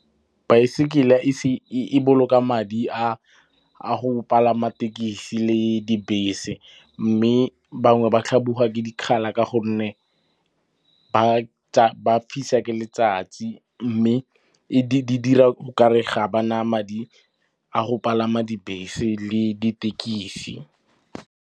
Baesekele e boloka madi a go palama tekesi le dibese. Mme bangwe ba tlhabiwa ke dikgala ka gonne ba fisa ke letsatsi mme di dira o kare ga ba na madi a go palama dibese le ditekisi.